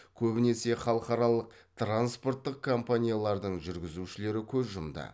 көбінесе халықаралық транспорттық компаниялардың жүргізушілері көз жұмды